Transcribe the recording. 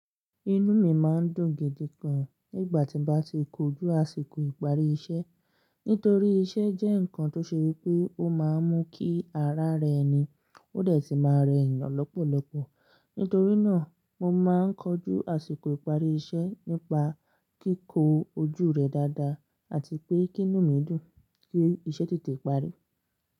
Inú mi máa ń dùn gidi gan nígbà tí mo bá ti kojú àsìkò ìparí iṣẹ́. Nítorí iṣẹ́ jẹ́ ǹkan tó ṣe wípé ó máa ń mú kí ara rẹ ni ó dẹ̀ ti máa rẹ eyan lọ́pọ̀lọpọ̀. Nítorí náà, mo máa ń kojú àsìkò ìparí iṣẹ́ nípa kíkó ojú rẹ̀ dáadáa àti pé kí inú mi dùn kí iṣẹ́ tètè parí.